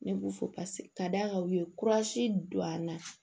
Ne b'u fo ka da kan u ye don an na